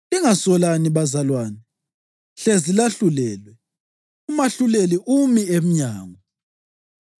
Lingasolani bazalwane hlezi lahlulelwe. UMahluleli umi emnyango!